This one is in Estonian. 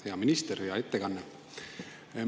Hea minister, oli hea ettekanne!